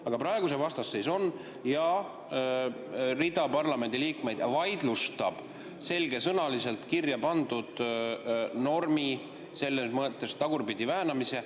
Aga praegu see vastasseis on ja rida parlamendiliikmeid vaidlustab selgesõnaliselt kirja pandud normi selles mõttes tagurpidi väänamise.